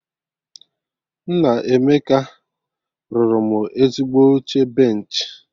Nna Emeka rụrụ mụ ezigbo oche benchị